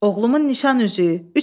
Oğlumun nişan üzüyü.